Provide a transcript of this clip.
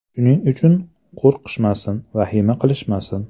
Shuning uchun qo‘rqishmasin, vahima qilishmasin.